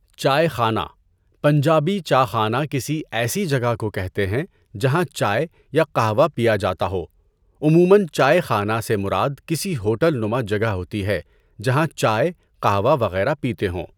چائے خانہ - پنجابی چاخانہ کسی ایسی جگہ کو کہتے ہیں جہاں چائے یا قہوہ پیا جاتا ہو ــ عموماّ چائے خانہ سے مراد کسی ہوٹل نما جگہ ہوتی ہے جہاں چائے قہوہ وغیرہ پیتے ہوں۔